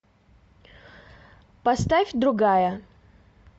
поставь другая